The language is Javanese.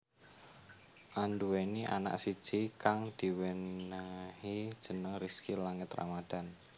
Anduweni anak siji kang diwenehi jeneng Rizky Langit Ramadhan